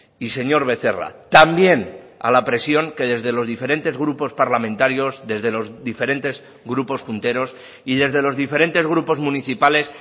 y señor becerra también a la presión que desde los diferentes grupos parlamentarios desde los diferentes grupos junteros y desde los diferentes grupos municipales